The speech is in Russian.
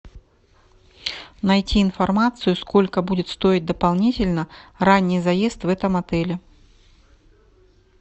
найти информацию сколько будет стоить дополнительно ранний заезд в этом отеле